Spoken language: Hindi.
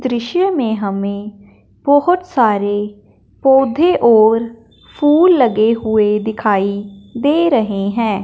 दृश्य में हमें बोहोत सारे पौधे और फूल लगे हुए दिखाई दे रहे हैं।